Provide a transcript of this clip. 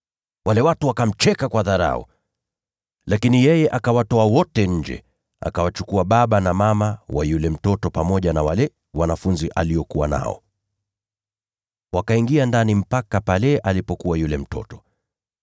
Wale watu wakamcheka kwa dharau. Lakini yeye akawatoa wote nje, akawachukua baba na mama wa yule mtoto, pamoja na wale wanafunzi aliokuwa nao. Wakaingia ndani mpaka pale alipokuwa yule mtoto.